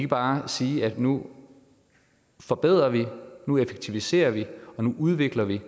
bare sige at nu forbedrer vi nu effektiviserer vi og nu udvikler vi